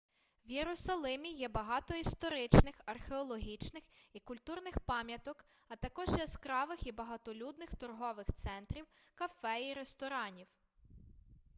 в єрусалимі є багато історичних археологічних і культурних пам'яток а також яскравих і багатолюдних торгових центрів кафе і ресторанів